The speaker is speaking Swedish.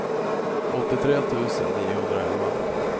åttiotre tusen niohundraelva